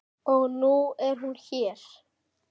Og nú er hún hér.